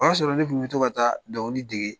O y'a sɔrɔ ne kun bɛ to ka taa dɔnkili dege.